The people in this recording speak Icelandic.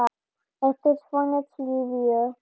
Ertu svona syfjuð?